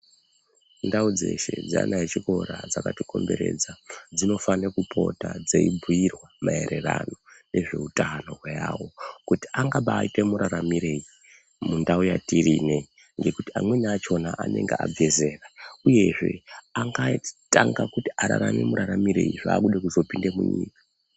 Ndau dzeshe dzaana echikora dzakatikomberedza dzinofane kupota dzeibhiirwa maererano nezveutano hwawo kuti angabaite muraramirei mundau yatiri inei ngekuti amweni achona anenge abve zera uyezve angatanga kuti ararame muraramirei zvakude kuzopinde munyika.